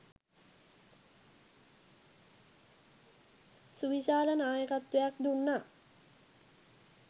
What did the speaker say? සුවිශාල නායකත්වයක් දුන්නා